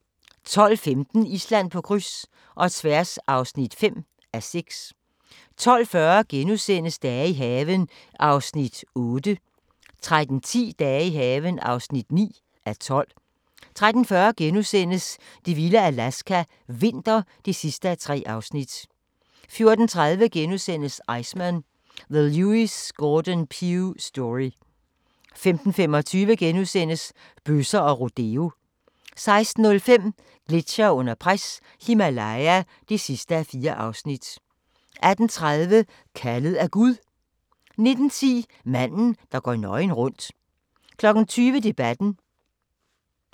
12:15: Island på kryds – og tværs (5:6) 12:40: Dage i haven (8:12)* 13:10: Dage i haven (9:12) 13:40: Det vilde Alaska – vinter (3:3)* 14:30: Iceman – The Lewis Gordon Pugh Story * 15:25: Bøsser og rodeo * 16:05: Gletsjere under pres – Himalaya (4:4) 18:30: Kaldet af Gud 19:10: Manden, der går nøgen rundt 20:00: Debatten